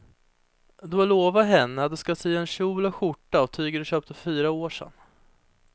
Du har lovat henne att du ska sy en kjol och skjorta av tyget du köpte för fyra år sedan.